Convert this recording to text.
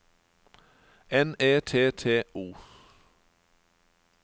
N E T T O